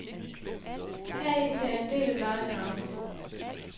Heri tager en del af løjerne afsæt.